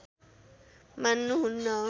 मान्नु हुन्न